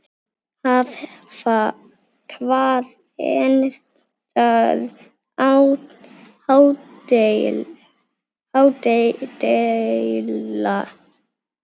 Hvar endar ádeila?